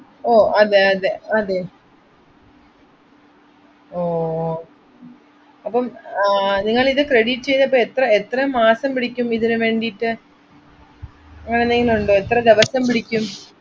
ഓ അതെ അതെ, അതെ ഓ അപ്പം ആഹ് നിങ്ങളിത് credit ചെയ്തപ്പോ എത്ര എത്ര മാസം പിടിക്കും ഇതിന് വേണ്ടിട്ടു. അങ്ങനെ എന്തെങ്കിലും ഉണ്ടോ, എത്ര ദിവസം പിടിക്കും.